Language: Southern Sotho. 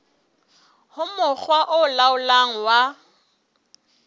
ho mokga o laolang wa